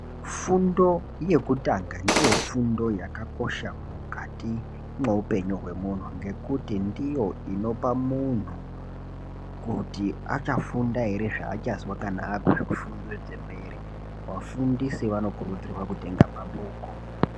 Fundo yekutanga ndiyo fundo yakakosha mukati mweupenyu hwemunhu. Ngekuti ndiyo inopa munhu kuti achafunda ere, zvachazwa kana akuzvifundo dzemberi vafundisi vanokurudzirwa kutenga mabhuku.